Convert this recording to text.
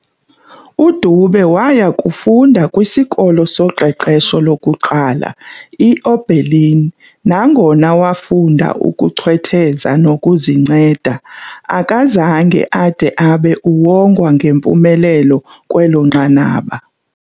UDube waaya kufunda kwisikolo soqeqesho lokuqala i-Oberlin nangona wafunda ukuchwetheza nokuzinceda, akazange ade abe uwongwa ngempumelelo kwelo nqanaba.